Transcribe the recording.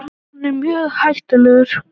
Hann er mjög hættulegur.